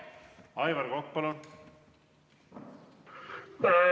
Aivar Kokk, palun!